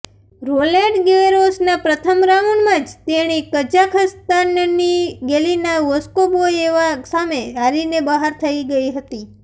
Roland ગેરોસના પ્રથમ રાઉન્ડમાં જ તેણી કઝાખસ્તાનની ગેલિના વોસ્કોબોએવા સામે હારીને બહાર થઇ ગઇ હતી